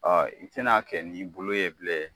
i tɛn'a kɛ n'i bolo ye bilen